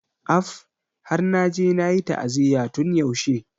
Af! Har naje nayi ta'aziyya tun yaushe.